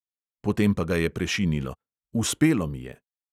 Potem pa ga je prešinilo: uspelo mi je!